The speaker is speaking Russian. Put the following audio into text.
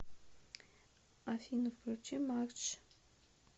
афина включи макдж